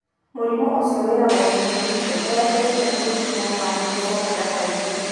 Mũrimũ ũcio wĩragwo tĩ mũrigite, nĩ wetereire kũrigitwo ka nĩ ũcokaga kaingĩ.